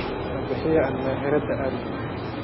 Nabixiya aan meheerata aadhnex.